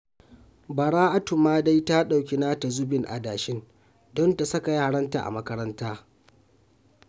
Bara'atu ma dai ta ɗauki nata zubin adashin don ta saka yaranta a makaranta